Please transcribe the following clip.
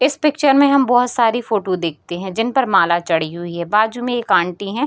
इस पिक्चर में हम बहुत सारी फोटो देखते हैं जिनपर माला चढ़ी हुई है बाजु में एक आंटी हैं।